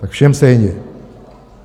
Tak všem stejně!